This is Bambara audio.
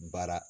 Baara